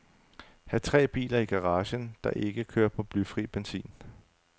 Hav tre biler i garagen, der ikke kører på blyfri benzin.